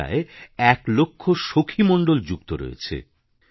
এতে প্রায় ১ লক্ষ সখী মণ্ডল যুক্ত রয়েছে